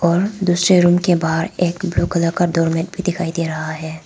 और दूसरे रूम के बाहर एक ब्लू कलर का डोर मैट भी दिखाई दे रहा है।